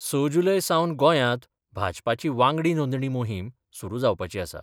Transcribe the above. स जुलय सावन गोंयांत भाजपाची वांगडी नोंदणी मोहीम सुरू जावपाची आसा.